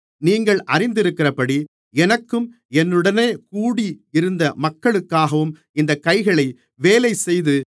நீங்கள் அறிந்திருக்கிறபடி எனக்கும் என்னுடனே கூடி இருந்த மக்களுக்காகவும் இந்தக் கைகளே வேலைசெய்தது